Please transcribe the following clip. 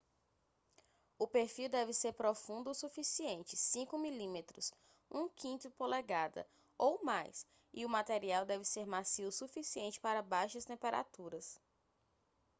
o perfil deve ser profundo o suficiente 5 mm 1/5 polegada ou mais e o material deve ser macio o suficiente para baixas temperaturas